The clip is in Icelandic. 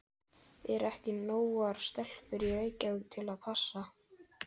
Eru ekki nógar stelpur í Reykjavík til að passa?